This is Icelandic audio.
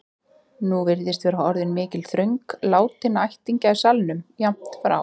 Nú virðist vera orðin mikil þröng látinna ættingja í salnum, jafnt frá